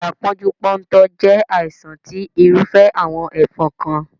Ibà pónjú póntò jé àìsàn tí irúfẹ́ àwon ẹ́fon kan